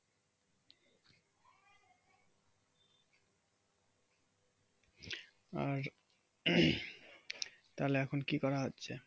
আর তাহলে এখন কি করা হচ্ছে?